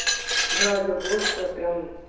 блять ну блузку я прям